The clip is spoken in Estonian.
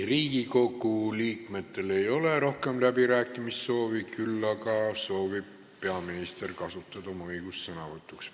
Riigikogu liikmetel ei ole rohkem läbirääkimiste soovi, küll aga soovib peaminister kasutada oma õigust sõna võtta.